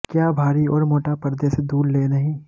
क्या भारी और मोटा पर्दे से दूर ले नहीं